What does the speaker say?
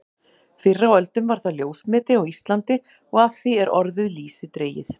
Fyrr á öldum var það ljósmeti á Íslandi og af því er orðið lýsi dregið.